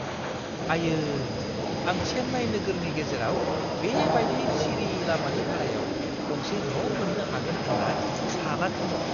आयै! आं चेन्नाई नोगोरनि गेजेराव बे बायदि सिरि लामानि भारायाव गंसे न' मोन्नो हागोन होन्ना सानाखैमोन।